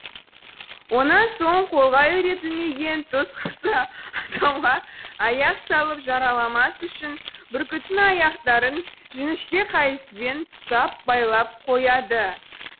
онан соң қолға үйретілмеген түз құсы адамға аяқ салып жараламас үшін бүркіттің аяқтарын жіңішке қайыспен тұсап байлап қояды